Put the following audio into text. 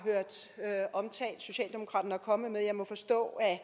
hørt omtalt socialdemokraterne er kommet med jeg må forstå at